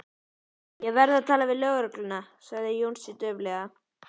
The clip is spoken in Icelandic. Ég verð að tala við lögregluna sagði Jónsi dauflega.